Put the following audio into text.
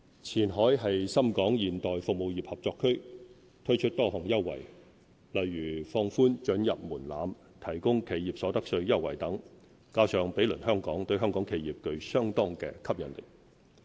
前海是深港現代服務業合作區，推出多項優惠，如放寬准入門檻、提供企業所得稅優惠等，加上毗鄰香港，對香港企業具相當吸引力。